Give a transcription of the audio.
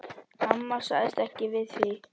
Amma sagði ekkert við því.